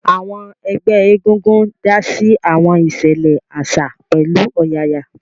Àwọn ẹgbẹ́ egungun dá sí àwọn ìṣẹ̀lẹ̀ àṣà pẹ̀lú ọ̀yàyà